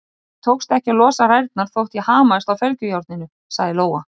Mér tókst ekki að losa rærnar þótt ég hamaðist á felgujárninu, sagði Lóa.